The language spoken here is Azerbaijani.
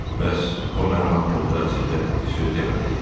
Bəs o mənim haqqımda sizə bir söz demədi?